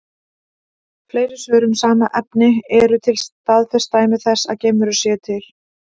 Fleiri svör um sama efni: Eru til staðfest dæmi þess að geimverur séu til?